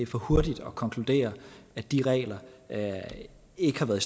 for hurtigt at konkludere at de regler ikke har været